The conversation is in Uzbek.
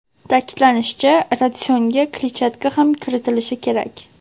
Ta’kidlanishicha, ratsionga kletchatka ham kiritilishi kerak.